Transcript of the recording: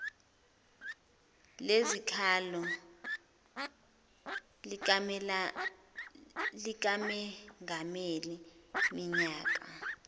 lezikhalo likamengameli minyaka